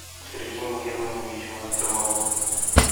сергеем германовичем артемовым